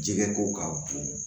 Jɛgɛ ko k'a bon